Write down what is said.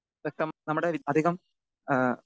speaker 2 നമ്മുടെ അധികം ഏഹ്